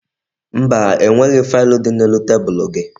Mba, enweghi faịlụ dị n'elu tebulu gị